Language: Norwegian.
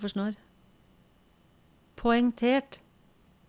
poengtert